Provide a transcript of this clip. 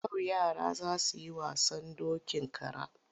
Yau yara za su yi wasan dokin kara.